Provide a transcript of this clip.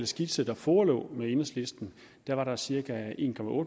skitse der forelå til med enhedslisten var der cirka en